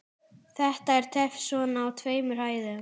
Þetta er töff svona á tveimur hæðum.